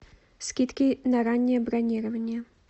скидки на раннее бронирование